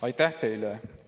Aitäh teile!